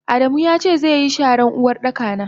Adamu yace zeyi sharan Uwardaka na.